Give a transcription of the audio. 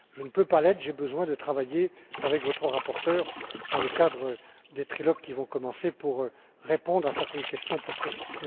Je ne peux pas l'être car j'ai besoin de travailler avec votre rapporteur dans le cadre des trilogues qui vont commencer pour répondre à certaines questions plus précises.